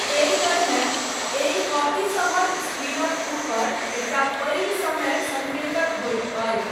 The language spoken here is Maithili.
एहि तरहेँ, एहि कॉपीसभक स्क्रीनक ऊपर, एकटा पैघ समय सङ्केतक होइत अछि।